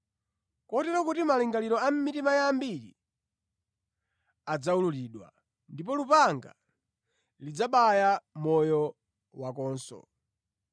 kotero kuti malingaliro a mitima ya ambiri adzawululidwa. Ndipo lupanga lidzabaya moyo wakonso.”